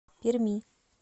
перми